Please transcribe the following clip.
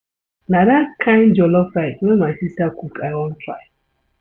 Na dat kain jollof rice wey my sista cook I wan try.